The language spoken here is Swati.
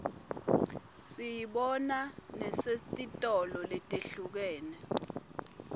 siyibona nesetitolo letihlukene